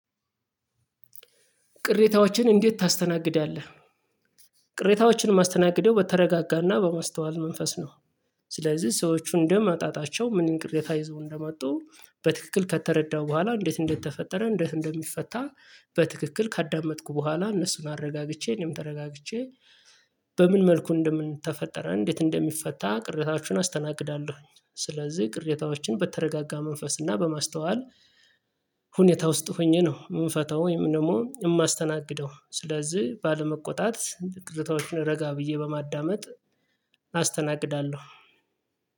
ቅሬታዎችን እንዴት ታስተናግዳለህ? ቅሬታዎችን ማስተናገደው በተረጋጋና በማስተዋል መንፈስ ነው። ስለዚህ ሰዎች እንዳመጣጣቸው ምን ቅሬታ ይዘው እንደመጡ በትክክል ከተረዳሁ በኋላ እንዴት እንደተፈጠረ እንዴት እንደሚፈታ በትክክል ካዳመጥኩ በኋላ እነሱን አረጋግቼ እኔም ተረጋግቼ በምን መልኩ እንደምንተፈጠረ እንዴት እንደሚፈታ ቅሬታዎችን አስተናግዳለሁኝ። ስለዚህ ቅሬታዎችን በተረጋጋ መንፈስ እና በማስተዋል ሁኔታ ውስጥ ሆኜ ነው ምፈታው ወይም ደግሞ የማስተናግደው ስለዚህ ባለመቆጣት ቅሬታወችን ረጋ ብዬ በማዳመጥ አስተናግዳለሁ።